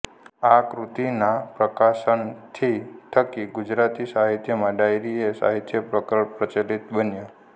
આ કૃતિના પ્રકાશનથી થકી ગુજરાતી સાહિત્યમાં ડાયરી એ સાહિત્યપ્રકર પ્રચલિત બન્યો